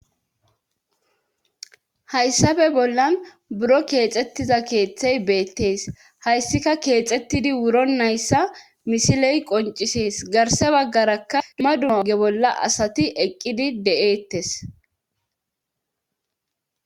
hayssafe bollan buro keexettiza keeththey beettees hayssika keexettidi wuro nayssa misiley qoncisees garse baggarakka duma duma oge bolla asati eqqidi de7eettes